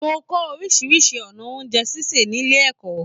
Mo kọ orisirisi ọnà oúnjẹ ṣíṣe nílé ẹ̀kọ́.